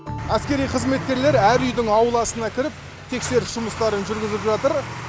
әскери қызметкерлер әр үйдің ауласына кіріп тексеріс жұмыстарын жүргізіп жатыр